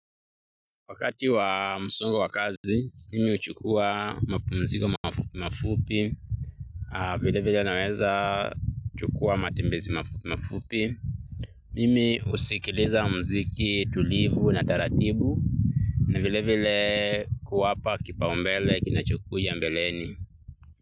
Wakati wa msongo wa kazi, mimi huchukua mapumziko mafupi mafupi, vile vile naweza chukua matembezi mafupi mafupi. Mimi husikiliza mziki tulivu na taratibu, na vile vile kuwapa kipaumbele kinachokuja mbeleni.